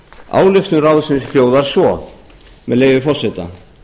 ályktun ráðsins hljóðar svo með leyfi forseta